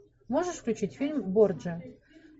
можешь включить фильм борджиа